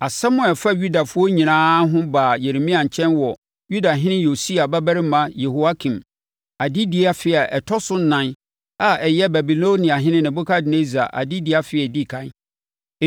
Asɛm a ɛfa Yudafoɔ nyinaa ho baa Yeremia nkyɛn wɔ Yudahene Yosia babarima Yehoiakim, adedie afe a ɛtɔ so ɛnan a ɛyɛ Babiloniahene Nebukadnessar adedie afe a ɛdi ɛkan.